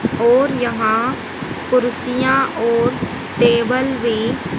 और यहां कुर्सियां और टेबल भी--